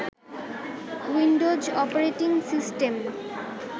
Windows operating system